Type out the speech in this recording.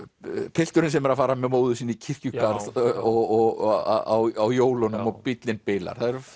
pilturinn sem er að fara með móður sinni í kirkjugarð á jólunum og bíllinn bilar það eru